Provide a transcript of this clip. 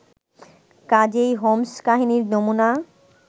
কাজেই হোমস্-কাহিনীর নমুনা